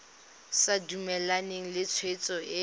sa dumalane le tshwetso e